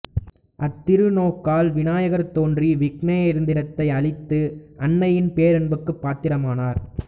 அத்திருநோக்கால் வினாயகர் தோன்றி விக்னயந்திரத்தை அழித்து அன்னையின் பேரன்புக்குப் பாத்திரமானார்